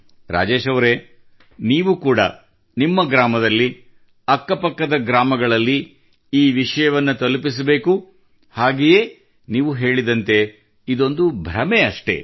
ರಾಜೇಶ್ ಅವರೇ ನೀವು ಕೂಡಾ ನಿಮ್ಮ ಗ್ರಾಮದಲ್ಲಿ ಅಕ್ಕ ಪಕ್ಕದ ಗ್ರಾಮಗಳಲ್ಲಿ ಈ ವಿಷಯವನ್ನು ತಲುಪಿಸಬೇಕು ಹಾಗೆಯೇ ನೀವು ಹೇಳಿದಂತೆ ಇದೊಂದು ಭ್ರಮೆ ಅಷ್ಟೇ